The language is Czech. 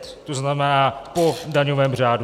To znamená po daňovém řádu.